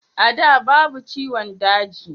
a da babu ciwon daji